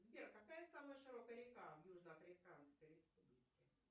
сбер какая самая широкая река в южно африканской республике